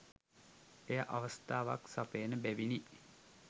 එය අවස්ථාවක් සපයන බැවිනි.